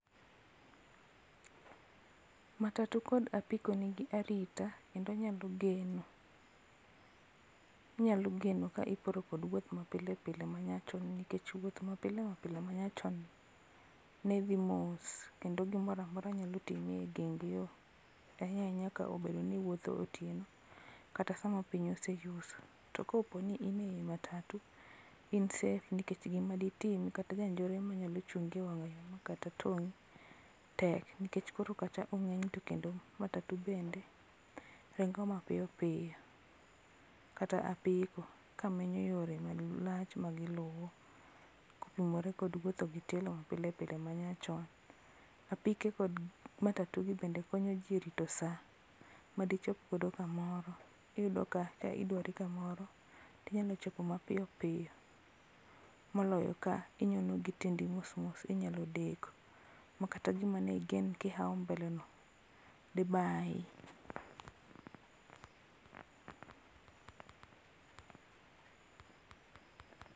Matatu kod apiko nigi arita, kendo onyalo geno inyalo geno ka iporo kod wuoth ma pilepile manyachon nikech wuoth mapile mapile manyachon ni, ne dhi mos, kendo gimoramora nyalo timi e geng yoo, ahinya ahinya ka obedo ni iwuotho otieno, kata sama piny oseyuso. To koponi in ei matatu, in safe nikech gima detimi kata janjore manyalo chungi e wanyayo ma kata tong'i, tek. Nikech koro kata to kendo matatu bende, ringo mapiyopiyo, kata apiko, ka menyo yore ma lach magiluwo, kopimore kod wuotho gi tielo mapilpile manyachon. Apike kod matatu gi bende konyo jii e rito saa, madichop godo kamoro. Iyudo ka ka idwari kamoro, tinyalo chopo mapiyopiyo, moloyo ka inyono gi tiendi mosmos inyalo deko. Makata gima ne igen kihao mbele no dibae []pause]